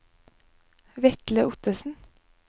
Vetle Ottesen